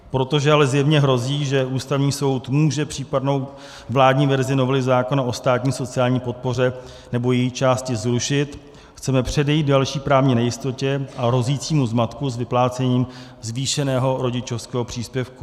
Protože ale zjevně hrozí, že Ústavní soud může případnou vládní verzi novely zákona o státní sociální podpoře nebo její části zrušit, chceme předejít další právní nejistotě a hrozícímu zmatku s vyplácením zvýšeného rodičovského příspěvku.